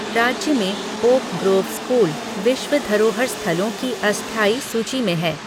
राज्य में oak grove school विश्व धरोहर स्थलों की अस्थायी सूची में है।